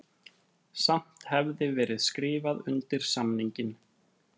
Samt hefði verið skrifað undir samninginn